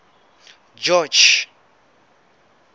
george